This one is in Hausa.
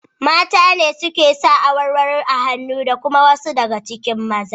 Mata ne suke sa awarwaro a hannu da kuma wasu daga cikin maza.